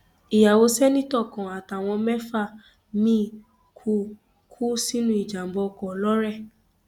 ìyàwó ṣèǹtẹtò kan àtàwọn mẹfà miín kú kú sínú ìjàmbá ọkọ lọrẹ